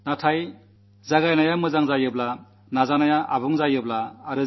നമുക്ക് ഇനിയും വളരെ മുന്നേറാനുണ്ടെന്നാണ് എന്റെ അഭിപ്രായം